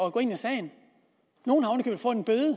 at gå ind i sagen